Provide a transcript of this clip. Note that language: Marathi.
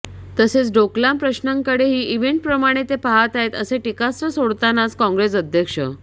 तसेच डोकलाम प्रश्नाकडेही इव्हेंटप्रमाणे ते पाहत आहेत असे टीकास्त्र सोडतानाच काँग्रेस अध्यक्ष